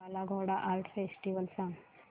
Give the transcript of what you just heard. काला Ghoda art festival सांग